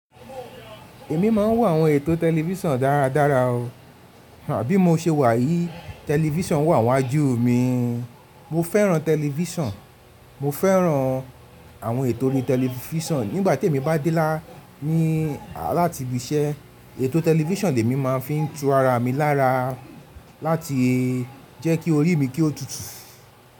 Èmi máa ń wò àwọn ètò tẹlifísàn dáradára o, bí mo ṣe wà yìí, tẹlifísàn wà n wájú mi. Mo fẹ́ràn tẹlifísàn, mo fẹ́ràn àwọn ètò ori tẹlifísàn. Nígbà tí èmi bá dé lá ní láti ibi iṣẹ́, ètò tẹlifísàn lèmi máa fi n tú ara mi lára láti jẹ́ kí orí mi kí ó tutù.